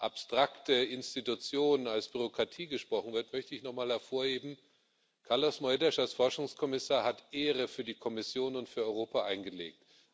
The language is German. abstrakte Institution, als Bürokratie gesprochen wird, möchte ich noch einmal hervorheben Carlos Moedas als Forschungskommissar hat Ehre für die Kommission und für Europa eingelegt.